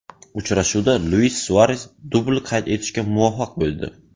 Uchrashuvda Luis Suares dubl qayd etishga muvaffaq bo‘ldi.